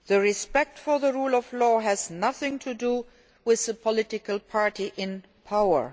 Respect for the rule of law has nothing to do with the political party in power.